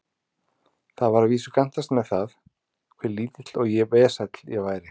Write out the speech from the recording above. Það var að vísu gantast með það, hve lítill og vesæll ég væri.